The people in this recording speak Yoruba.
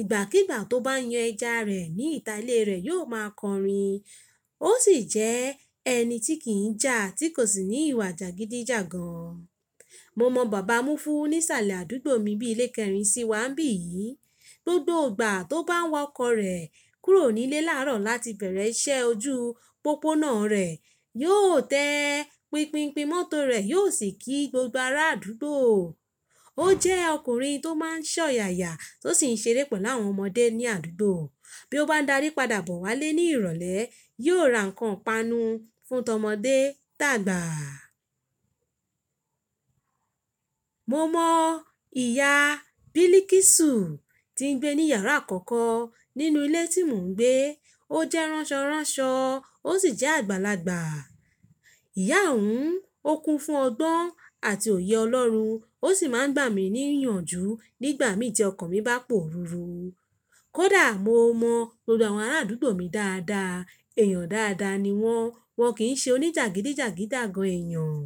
Ìgbàkígbà tó bá yan ẹja rẹ̀ ní ìta ilé rẹ̀ yóò máa kọrin. Ó sì jẹ́ ẹni tí kì í ja, tí kò sì ní ìwà jàgídíjàgan. Mo mọ̀ bàbá Múfù níṣàlẹ̀ àdúgbò mi bí ilé kẹrin sí wa bí yìí. Gbogbo ìgbà tí óò bá waa ọkọ rẹ kúrò nílé láàrọ̀ láti beere iṣẹ́ ojú pópóòná rẹ̀ yó tẹ pínpínpín mọ́tò rẹ̀ yóò sì kí gbogbo ará àdúgbò. Ó jẹ́ ọkùnrin tó máa ń ṣọ̀yàyà tó sì ń ṣeré pẹ̀lú àwọn ọmọdé ní àdúgbò. Bí ó bá darí padà bọ̀ wálé ní ìrọ̀lẹ́, yóò ra ǹkan panu fún tọmọdé tàgbà. Mo mọ ìyá bilikisu tí ń gbé ní iyàrá àkọ́kọ́ nínú ilé tí mò ń gbé. Ó jẹ́ ránṣọránṣọ ó sì jẹ́ àgbàlagbà. Ìyá òun, ó kú fún ọgbọ́n àti òye ọlọ́run, ó sì máa ń gbà mí níyànjú nígbà mi tí ọkàn mi bá pòrùrù. Kódà mo mọ̀ gbogbo àwọn ará àdúgbò mi dáadáa, èèyàn dáadáa ni wọ́n, wọ́n kì í ṣe oníjàgídíjàgídíjàgan èèyàn.